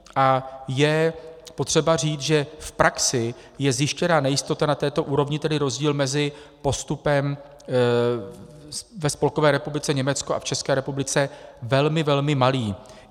A je potřeba říct, že v praxi je zjištěná nejistota na této úrovni, tedy rozdíl mezi postupem ve Spolkové republice Německo a v České republice velmi, velmi malý.